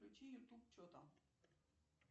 включи ютуб чо там